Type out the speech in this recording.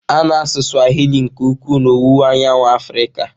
A na-asụ Swahili nke ukwuu n'Owuwu Anyanwụ Africa.